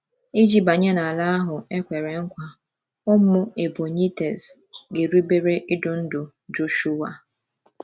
Iji banye n’Ala ahụ ekwere nkwa, ụmụ Ebonyiites ga-erubere idu ndu Joshhua